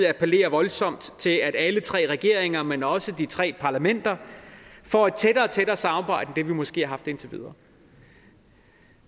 appellere voldsomt til at alle tre regeringer men også de tre parlamenter får et tættere og tættere samarbejde end det vi måske har haft indtil videre